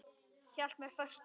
Hélt mér föstum.